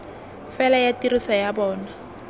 fela ya tiriso ya bona